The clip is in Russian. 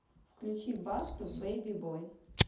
включи басту бэйби бой